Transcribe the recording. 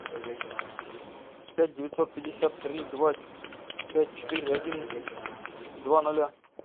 пять девятьсот пятьдесят три два пять четыре одиннадцать два ноля